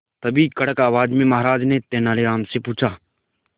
तभी कड़क आवाज में महाराज ने तेनालीराम से पूछा